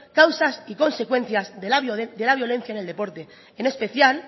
causas y consecuencias de la violencia en el deporte en especial